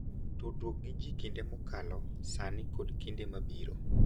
tudruok gi ji gi kinde mokalo, sani, kod kinde mabiro,